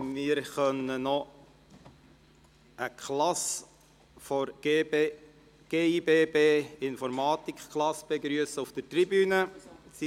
Wir dürfen eine Informatikklasse der Gewerblich-Industriellen Berufsschule und Weiterbildung Bern (gibb) auf der Tribüne begrüssen.